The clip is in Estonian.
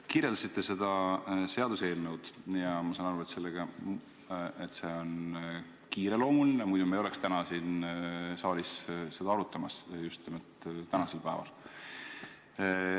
Kirjeldasite seda seaduseelnõu ja ma saan aru, et see on kiireloomuline, muidu me ei oleks siin saalis seda arutamas just nimelt tänasel päeval.